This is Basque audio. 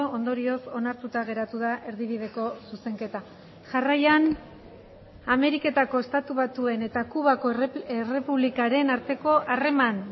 ondorioz onartuta geratu da erdibideko zuzenketa jarraian ameriketako estatu batuen eta kubako errepublikaren arteko harreman